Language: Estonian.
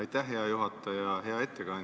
Aitäh, hea juhataja!